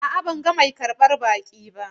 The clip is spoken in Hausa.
A'a, ban ga mai karbar baƙi ba.